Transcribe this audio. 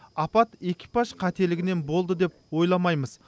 апат экипаж қателігінен болды деп ойламаймыз